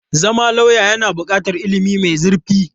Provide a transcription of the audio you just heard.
Zama lauya yana buƙatar ilimi mai zurfi.